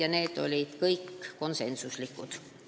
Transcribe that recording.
Kõik needki otsused olid konsensuslikud.